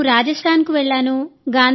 నేను రాజస్థాన్కు వెళ్ళాను